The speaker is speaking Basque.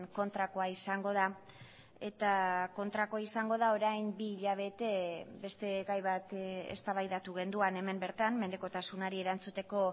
kontrakoa izango da eta kontrakoa izango da orain bi hilabete beste gai bat eztabaidatu genuen hemen bertan menpekotasunari erantzuteko